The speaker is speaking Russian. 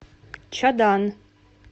чадан